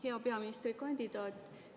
Hea peaministrikandidaat!